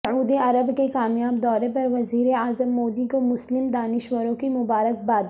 سعودی عرب کے کامیاب دورہ پر وزیر اعظم مودی کو مسلم دانشوروں کی مبارکباد